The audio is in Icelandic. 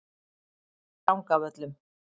Drangavöllum